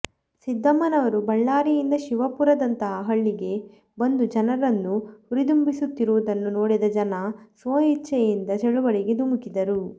ಸಿದ್ದಮ್ಮನವರು ಬಳ್ಳಾರಿಯಿಂದ ಶಿವಪುರದಂತಹ ಹಳ್ಳಿಗೆ ಬಂದು ಜನರನ್ನು ಹುರಿದುಂಬಿಸುತ್ತಿರುವುದನ್ನು ನೋಡಿದ ಜನ ಸ್ವಇಚ್ಛೆಯಿಂದ ಚಳುವಳಿಗೆ ಧುಮುಕಿದರು